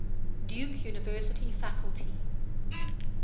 duke university faculty